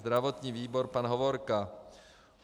Zdravotní výbor - pan Hovorka.